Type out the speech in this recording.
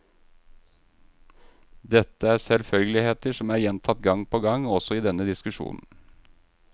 Dette er selvfølgeligheter, som er gjentatt gang på gang også i denne diskusjonen.